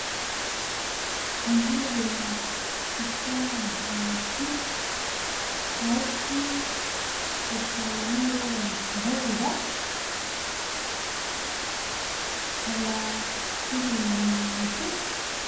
Intebe zisa na kaki hasi akasa n'ibara ryirabura kaba ziri munzu.